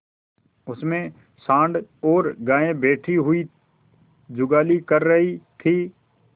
उनमें सॉँड़ और गायें बैठी हुई जुगाली कर रही थी